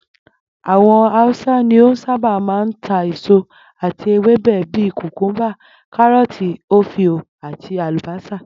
Àwo̩n Hausa ni ó sábà máa ń ta èso àti ewébè̩ bíi kùkúḿbà, káró̩ò̩tì, ofio, àti àlùbó̩sà